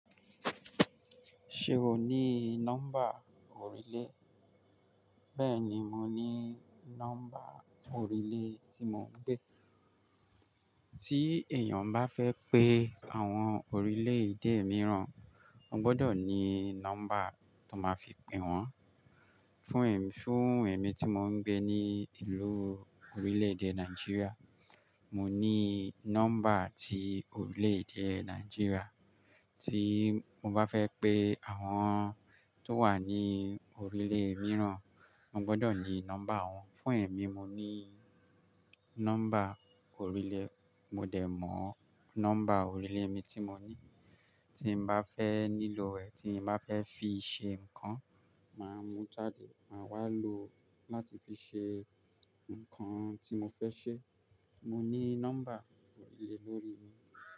Ṣé o ní nọ́mbà orílẹ̀? Bẹ́ẹ̀ni, mo ní nọ́mbà orílẹ̀ tí mo ń gbé. Tí èèyàn bá fẹ́ pé àwọn orílẹ̀-èdè mìíràn, ó gbọ́dọ̀ ní nọ́mbà tó máa fi pè wọ́n. Fún èmi tí mo ń gbé ní ìlú orílẹ̀-èdè Nàìjíríà, mo ní nọ́mbà tí orílẹ̀-èdè Nàìjíríà. Tí mo bá fẹ́ pé àwọn tó wà ní orílẹ̀ mìíràn, mo gbọ́dọ̀ ní nọ́mbà wọ́n. Fún èmi mo ní nọ́mbà orílẹ̀, mo dẹ̀ mọ̀ nọ́mbà orílẹ̀ mi tí mo ní. Tí n bá fẹ́ nílò ẹ̀, tí n bá fẹ́ fi ṣe nǹkan, màá mú jáde, màá wá lò láti fi ṣe nǹkan tí mo fẹ́ ṣe. Mo ní nọ́mbà orílẹ̀ lórí mi.